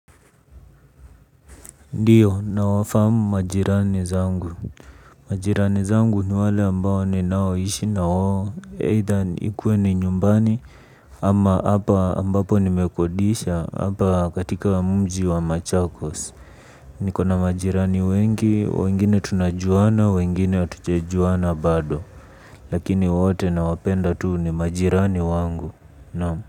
Ndio nawafahamu majirani zangu. Majirani zangu ni wale ambao ninaoishi na wao. Either ikuwe ni nyumbani ama hapa ambapo nimekodisha. Hapa katika mji wa machakos. Niko na majirani wengi, wengine tunajuana, wengine hatujajuana bado. Lakini wote nawapenda tu ni majirani wangu. Naam.